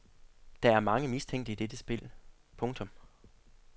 Der er mange mistænkte i dette spil. punktum